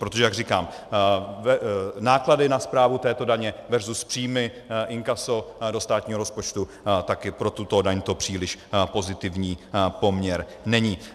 Protože jak říkám, náklady na správu této daně versus příjmy, inkaso do státního rozpočtu také pro tuto daň to příliš pozitivní poměr není.